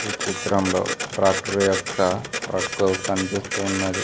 ఈ చిత్రంలో ట్రాక్టర్ యొక్క ట్రక్కు కనిపిస్తున్నది.